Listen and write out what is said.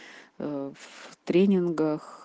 в тренингах